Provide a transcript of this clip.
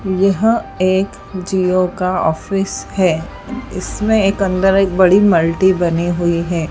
यह एक जिओ का ऑफिस है इसमें एक अंदर एक बड़ी मल्टी बनी हुई है।